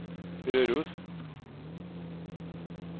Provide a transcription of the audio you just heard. Røros